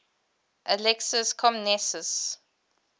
alexius comnenus